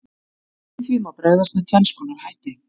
Við því má bregðast með tvenns konar hætti.